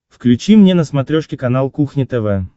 включи мне на смотрешке канал кухня тв